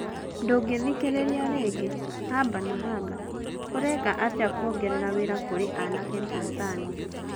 Ndũngithikiriria ringi Haba na Haba: Uraiika atia kûongerera wira kurĩ aanake Tanzania?